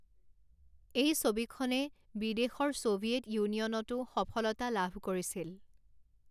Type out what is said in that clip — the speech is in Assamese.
এই ছবিখনে বিদেশৰ ছোভিয়েট ইউনিয়নতো সফলতা লাভ কৰিছিল।